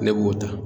Ne b'o ta